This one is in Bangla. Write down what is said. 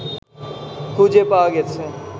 খুঁজে পাওয়া গেছে